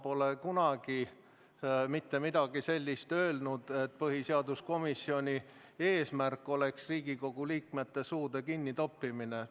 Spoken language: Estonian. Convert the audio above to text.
Ma pole mitte kunagi midagi sellist öelnud, et põhiseaduskomisjoni eesmärk on Riigikogu liikmete suude kinnitoppimine.